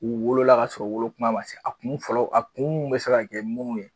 U wolola ka sɔrɔ u wolo kuma ma se, a kun fɔlɔ a kun mɛ se ka kɛ munnu ye